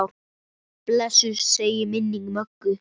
Blessuð sé minning Möggu.